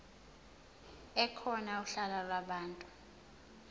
ekhona uhla lwabantu